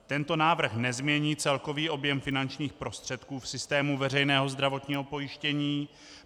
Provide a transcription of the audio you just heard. Tento návrh nezmění celkový objem finančních prostředků v systému veřejného zdravotního pojištění.